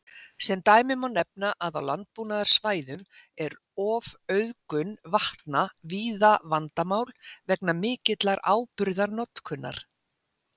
Sem dæmi má nefna að á landbúnaðarsvæðum er ofauðgun vatna víða vandamál vegna mikillar áburðarnotkunar.